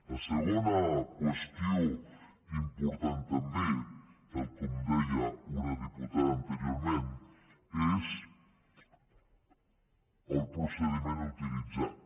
la segona qüestió important també tal com deia una diputada anteriorment és el procediment utilitzat